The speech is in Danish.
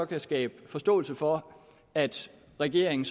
kan skabe forståelse for at regeringen